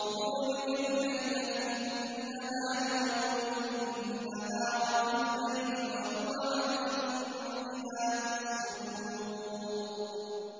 يُولِجُ اللَّيْلَ فِي النَّهَارِ وَيُولِجُ النَّهَارَ فِي اللَّيْلِ ۚ وَهُوَ عَلِيمٌ بِذَاتِ الصُّدُورِ